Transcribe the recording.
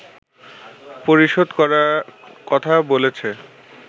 পরিশোধ করা কথা বলেছে